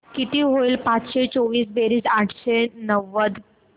किती होईल पाचशे चोवीस बेरीज आठशे नव्वद